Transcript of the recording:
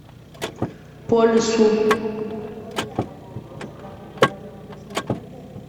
по лесу